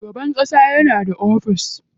Shugaban ƙasa yana da ofis.